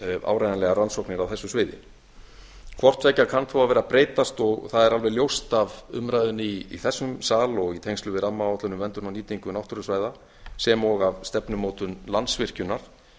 áreiðanlegar rannsóknir á þessu sviði hvort tveggja kann þó að vera að breytast það er alveg ljóst af umræðunni í þessum sal og í tengslum við rammaáætlun í tengslum við nýtingu náttúrusvæða sem og af stefnumótun landsvirkjunar